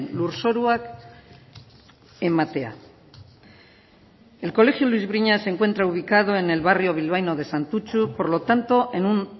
lurzoruak ematea el colegio luis briñas se encuentra ubicado en el barrio bilbaíno de santutxu por lo tanto en un